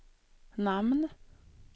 namn